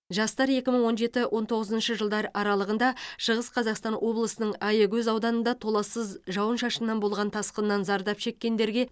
жастар екі мың он жеті он тоғызыншы жылдар аралығында шығыс қазақстан облысының аягөз ауданында толассыз жауын шашыннан болған тасқыннан зардап шеккендерге